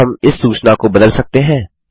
क्या हम इस सूचना को बदल सकते हैं160